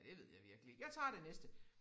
Det ved jeg virkelig ikke. Jeg tager det næste